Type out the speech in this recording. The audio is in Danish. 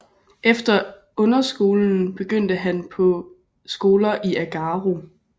Efter underskolen begyndte han på skoler i Agaro